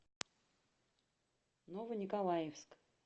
ново николаевскъ